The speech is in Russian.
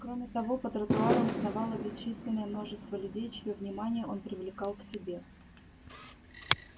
кроме того по тротуарам сновало бесчисленное множество людей чьё внимание он привлекал к себе